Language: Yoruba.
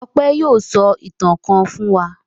Ọpẹ́ yóò sọ ìtàn kan fún wa.